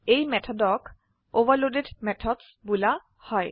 এই মেথডক overloaded methods বুলা হয়